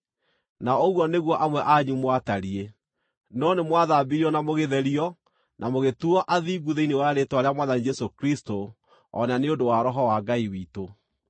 Na ũguo nĩguo amwe anyu mwatariĩ. No nĩmwathambirio, na mũgĩtherio, na mũgĩtuuo athingu thĩinĩ wa rĩĩtwa rĩa Mwathani Jesũ Kristũ o na nĩ ũndũ wa Roho wa Ngai witũ.